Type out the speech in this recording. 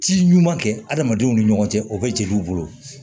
Ci ɲuman kɛ adamadenw ni ɲɔgɔn cɛ o bɛ jeliw bolo